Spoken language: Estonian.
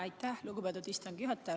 Aitäh, lugupeetud istungi juhataja!